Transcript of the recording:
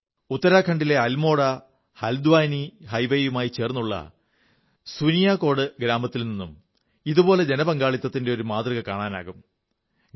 ഉത്തരാഖണ്ഡിലെ അൽമോഡഹല്ദ്വാനി ഹൈവേയുമായി ചേർന്നുള്ള സുനിയാകോട് ഗ്രാമത്തിൽനിന്നും ഇതുപോലെ ജനപങ്കാളിത്തത്തിന്റെ ഒരു മാതൃക കാണാനാകും